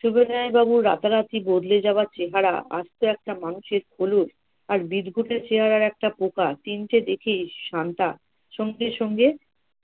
সবিনয় বাবুর রাতারাতি বদলে যাওয়া চেহেরা, আস্ত একটা মানুষের খোলস আর বিদঘুটে চেহারার একটা পোকা তিনটে দেখেই শান্তা সঙ্গে সঙ্গে